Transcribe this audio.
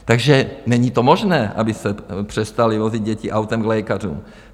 Takže není to možné, aby se přestaly vozit děti autem k lékařům.